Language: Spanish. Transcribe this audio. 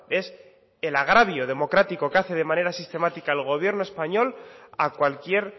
es el agravio democrático que hace de manera sistemática el gobierno español a cualquier